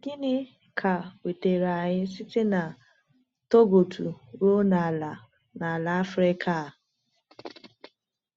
Gịnị ka wetara anyị site na Togoto ruo n’ala n’ala Afrịka a?